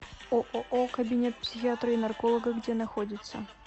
ооо кабинет психиатра и нарколога где находится